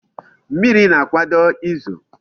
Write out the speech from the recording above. Mmiri na-akwado izo